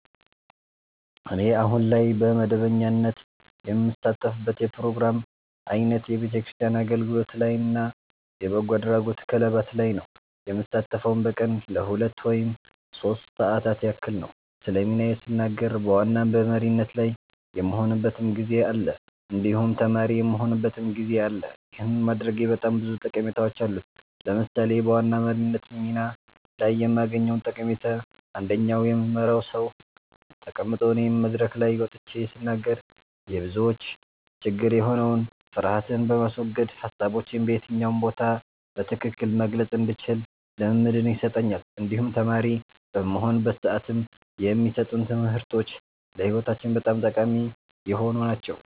እኔ አሁን ላይ በመደበኛነት የምሳተፍበት የፕሮግራም አይነት የቤተክርስቲያን አገልግሎት ላይ እና የበጎ አድራጎት ክለባት ላይ ነዉ። የምሳተፈዉም በቀን ለሁለት ወይም ሶስት ሰዓታት ያክል ነዉ። ስለ ሚናዬ ስናገር በዋና በመሪነት ላይ የምሆንበትም ጊዜ አለ እንዲሁም ተማሪ የምሆንበትም ጊዜ አለ ይህን ማድረጌ በጣም ብዙ ጠቀሜታዎች አሉት። ለምሳሌ በዋና መሪነት ሚና ላይ የማገኘዉ ጠቀሜታ አንደኛ የምመራዉ ሰዉ ተቀምጦ እኔ መድረክ ላይ ወጥቼ ስናገር የብዙዎች ችግር የሆነዉን ፍርሀትን በማስወገድ ሀሳቦቼን በየትኛው ቦታ በትክክል መግለፅ እንድችል ልምምድን ይሰጠኛል እንዲሁም ተማሪ በምሆንበት ሰዓትም የማሰጡን ትምህርቶች ለህይወታችን በጣም ጠቃሚ የሆኑ ናቸዉ።